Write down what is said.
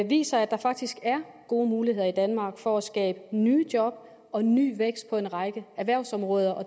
viser at der faktisk er gode muligheder i danmark for at skabe nye job og ny vækst på en række erhvervsområder og